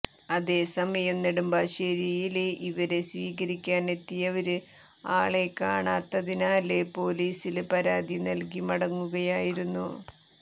അതേസമയം നെടുമ്പാശ്ശേരിയില് ഇവരെ സ്വീകരിക്കാനെത്തിയവര് ആളെ കാണാത്തതിനാല് പോലിസില് പരാതി നല്കി മടങ്ങുകയായിരുന്നു